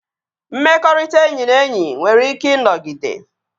Mmekọrịta enyi na enyi nwere ike ịnọgide